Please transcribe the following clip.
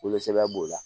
Wolosɛbɛn b'o la